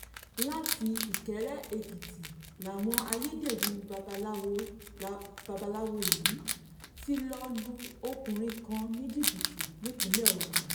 láti ìkéré-èkìtì làwọn ayédèrú babaláwo yìí ti lọ́ọ́ lu ọkùnrin kan ní jìbìtì nípìnlẹ̀ ogun